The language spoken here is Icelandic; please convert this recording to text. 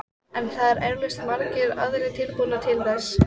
En það eru eflaust margir aðrir tilbúnir til þess.